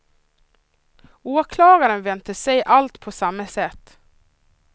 Åklagaren väntas se allt på samma sätt.